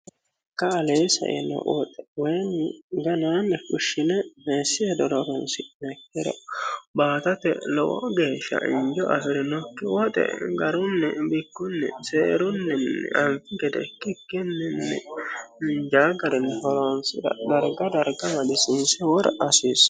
ka alee saino woxe weyini ganaanni fushshile meessi hedora horonsi'niha ikkiro baatate lowo geeshsha injo afi'rinokki woxe garunni bikkunni seerunnin anki gede ikkikkini injaawo garinni loonsira darga darga madisinsi wora asiissa